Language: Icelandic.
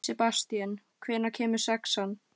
Sebastían, hvenær kemur sexan?